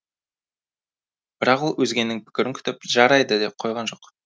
бірақ ол өзгенің пікірін күтіп жарайды дей қойған жоқ